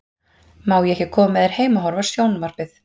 Má ég ekki koma með þér heim og horfa á sjón- varpið?